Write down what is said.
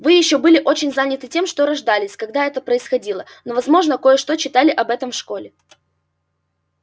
вы ещё были очень заняты тем что рождались когда это происходило но возможно кое-что читали об этом в школе